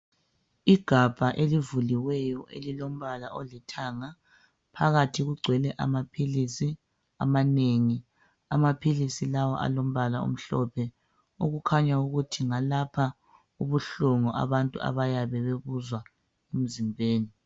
Igabha elivuliweyo elilombala olithanga phakathi kugcwele amaphilisi amanengi, amaphilisi lawa alombala omhlophe okukhanya ukuthi ngalapha ubuhlungu abantu bayabe bewuzwa emzimbeni.